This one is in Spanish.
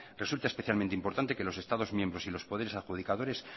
resulta especialmente importante que los estados miembros y los poderes adjudicadores